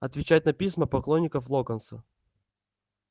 отвечать на письма поклонников локонса